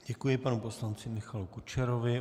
Děkuji panu poslanci Michalu Kučerovi.